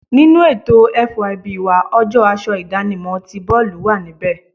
Nínú ètò FYB wa, ọjọ́ aṣọ idanimo tí boolu wà níbẹ̀.